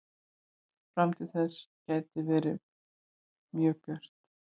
Framtíð þess gæti verið mjög björt.